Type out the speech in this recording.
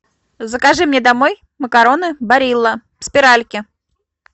закажи мне домой макароны барилла спиральки